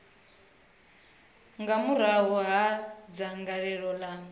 nga murahu ha dzangalelo ḽa